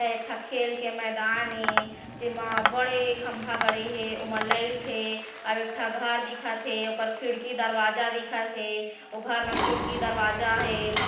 एक ठक खेल के मैदान हे जेमा बड़े खंभा गड़े हे ओमा लाइट हे एक ठक घर दिखत हे ओखर खिड़की दरवाजा दिखत हे ओ घर म खिड़की दरवाजा हे।